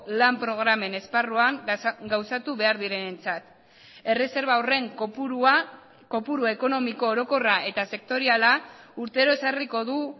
lan programen esparruan gauzatu behar direnentzat erreserba horren kopurua kopuru ekonomiko orokorra eta sektoriala urtero ezarriko du